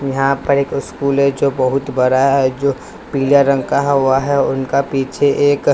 यहाँ पर एक स्कूल है जो बहुत बड़ा है जो पीले रंग का हुआ है उनका पीछे एक--